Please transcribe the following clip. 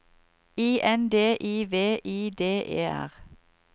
I N D I V I D E R